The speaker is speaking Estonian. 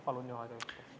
Palun aega juurde!